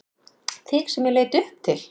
Þig sem ég leit upp til.